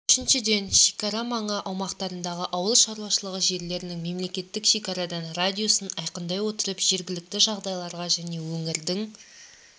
үшіншіден шекара маңы аумақтарындағы ауыл шаруашылығы жерлерінің мемлекеттік шекарадан радиусын айқындай отырып жергілікті жағдайларға және өңірдің